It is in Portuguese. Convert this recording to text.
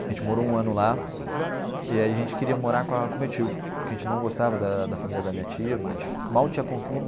A gente morou um ano lá e aí a gente queria morar com a com o meu tio, porque a gente não gostava da da família da minha tia do meu tio mal tinha con